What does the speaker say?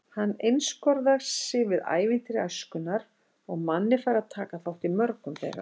Hann einskorðar sig við ævintýri æskunnar og Manni fær að taka þátt í mörgum þeirra.